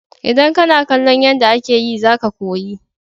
Idan kana kallon yanda ake yi za ka koyi.